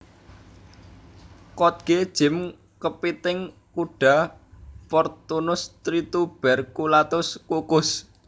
Kkotge jjim kepiting kuda Portunus trituberculatus kukus